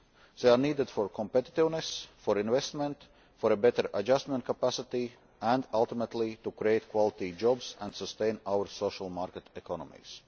They are needed for competitiveness, for investment, for a better adjustment capacity and, ultimately, to create quality jobs and sustain our social market economies.